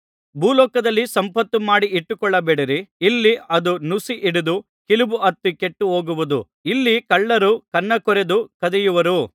ಭೂಲೋಕದಲ್ಲಿ ಸಂಪತ್ತು ಮಾಡಿ ಇಟ್ಟುಕೊಳ್ಳಬೇಡಿರಿ ಇಲ್ಲಿ ಅದು ನುಸಿ ಹಿಡಿದು ಕಿಲುಬು ಹತ್ತಿ ಕೆಟ್ಟುಹೋಗುವುದು ಇಲ್ಲಿ ಕಳ್ಳರು ಕನ್ನಾಕೊರೆದು ಕದಿಯುವರು